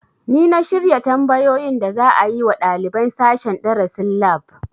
Ni na shirya tambayoyin da za a yi wa ɗaliban sashen darasin lab